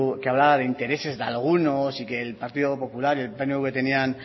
que hablaba de intereses de algunos y que el partido popular y el pnv tenían